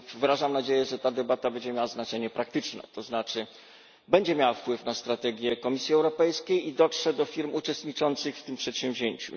Wyrażam nadzieję, że ta debata będzie miała znaczenie praktyczne, to znaczy będzie miała wpływ na strategię Komisji Europejskiej i dotrze do firm uczestniczących w tym przedsięwzięciu.